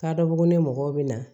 K'a dɔ bugunɛ mɔgɔw bɛ na